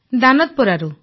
ଦାନଦପରାରୁ